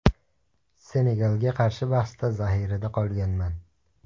Senegalga qarshi bahsda zaxirada qolganman.